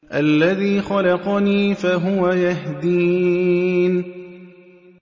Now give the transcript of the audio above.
الَّذِي خَلَقَنِي فَهُوَ يَهْدِينِ